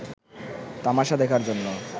তামাশা দেখার জন্য